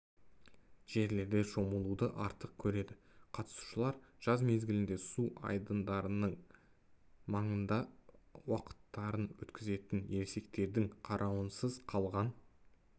жерлерде шомылуды артық көреді қатысушылар жаз мезгілінде су айдындарының маңында уақыттарын өткізетін ересектердің қарауынсыз қалған